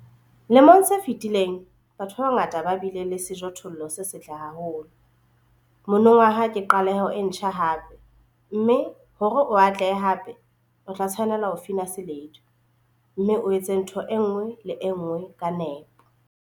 Lemong se fetileng, batho ba bangata ba bile le sejothollo se setle haholo - monongwaha ke qaleho e ntjha hape, mme hore o atlehe hape, o tla tshwanela ho fina seledu, mme o etse ntho e nngwe le e nngwe ka nepo.